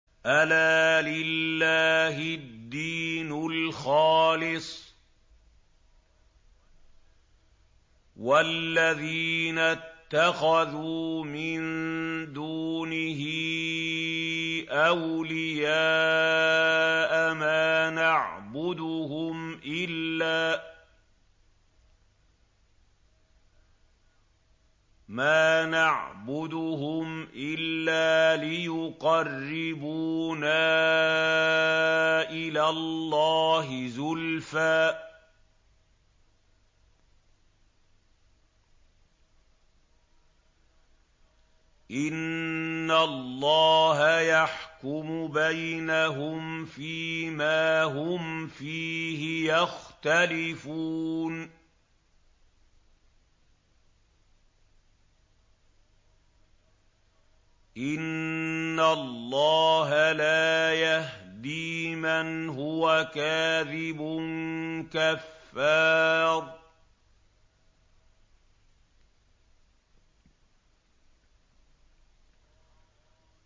أَلَا لِلَّهِ الدِّينُ الْخَالِصُ ۚ وَالَّذِينَ اتَّخَذُوا مِن دُونِهِ أَوْلِيَاءَ مَا نَعْبُدُهُمْ إِلَّا لِيُقَرِّبُونَا إِلَى اللَّهِ زُلْفَىٰ إِنَّ اللَّهَ يَحْكُمُ بَيْنَهُمْ فِي مَا هُمْ فِيهِ يَخْتَلِفُونَ ۗ إِنَّ اللَّهَ لَا يَهْدِي مَنْ هُوَ كَاذِبٌ كَفَّارٌ